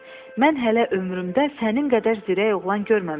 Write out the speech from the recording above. Mən hələ ömrümdə sənin qədər zirək oğlan görməmişəm.